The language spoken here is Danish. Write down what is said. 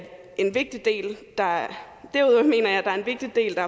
en vigtig del der er